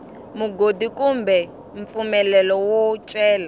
mugodi kumbe mpfumelelo wo cela